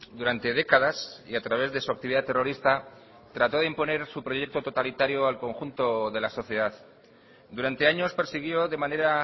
durante décadas y a través de su actividad terrorista trató de imponer su proyecto totalitario al conjunto de la sociedad durante años persiguió de manera